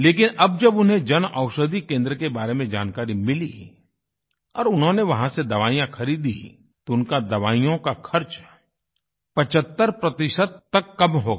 लेकिन अब जब उन्हें जनऔषधि केंद्र के बारे में जानकारी मिली और उन्होंने वहाँ से दवाइयाँ ख़रीदी तो उनका दवाइयों का खर्च 75 प्रतिशत तक कम हो गया